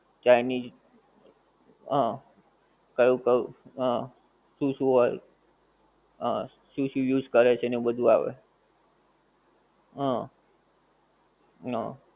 Chinese હં. કયું કયું હં. શું શું હોય હં. શું શું use કરે છે ને બધુ આવે હં હં.